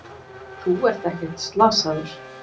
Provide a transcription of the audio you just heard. Þú ert ekkert slasaður.